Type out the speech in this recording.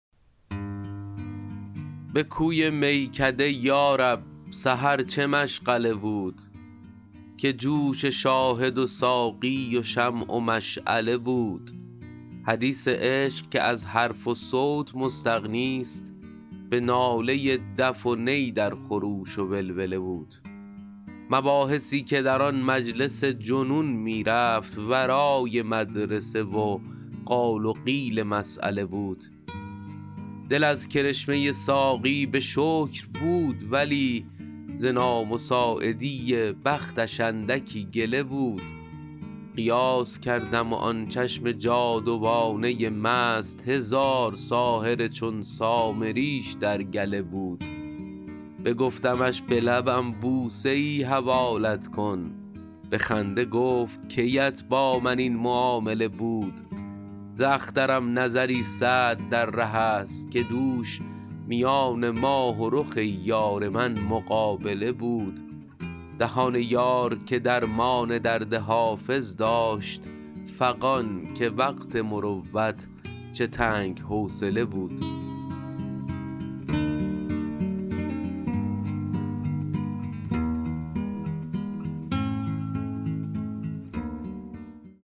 به کوی میکده یا رب سحر چه مشغله بود که جوش شاهد و ساقی و شمع و مشعله بود حدیث عشق که از حرف و صوت مستغنیست به ناله دف و نی در خروش و ولوله بود مباحثی که در آن مجلس جنون می رفت ورای مدرسه و قال و قیل مسأله بود دل از کرشمه ساقی به شکر بود ولی ز نامساعدی بختش اندکی گله بود قیاس کردم و آن چشم جادوانه مست هزار ساحر چون سامریش در گله بود بگفتمش به لبم بوسه ای حوالت کن به خنده گفت کی ات با من این معامله بود ز اخترم نظری سعد در ره است که دوش میان ماه و رخ یار من مقابله بود دهان یار که درمان درد حافظ داشت فغان که وقت مروت چه تنگ حوصله بود